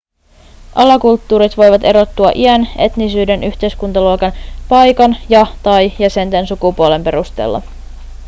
alakulttuurit voivat erottua iän etnisyyden yhteiskuntaluokan paikan ja/tai jäsenten sukupuolen perusteella